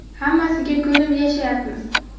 Hammasiga ko‘nib yashayapmiz.